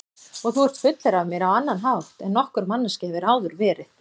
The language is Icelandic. Og þú ert fullur af mér á annan hátt en nokkur manneskja hefur áður verið.